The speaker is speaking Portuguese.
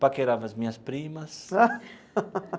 Paquerava as minhas primas.